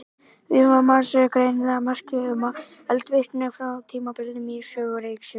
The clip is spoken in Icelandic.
Víða á Mars eru greinileg merki um mikla eldvirkni frá ýmsum tímabilum í sögu reikistjörnunnar.